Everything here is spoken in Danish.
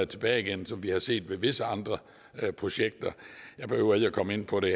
tilbage igen som vi har set med visse andre projekter jeg behøver ikke komme ind på det